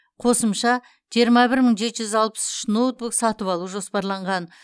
қосымша жиырма бір мың жеті жүз алпыс үш ноутбук сатып алу жоспарланған